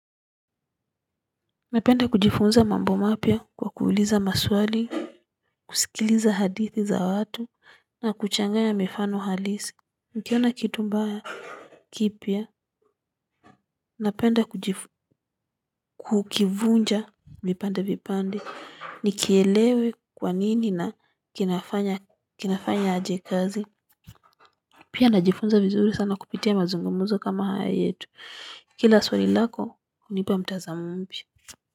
Napenda kujifunza mambo mapya kwa kuuliza maswali, kusikiliza hadithi za watu, na kuchangaya mifano halisi. Nikiona kitu mbaya kipya, napenda kukivunja vipande vipande, nikielewe kwanini na kinafanya aje kazi. Pia najifunza vizuri sana kupitia mazungumzo kama haya yetu. Kila swali lako, hunipa mtazamo mpya.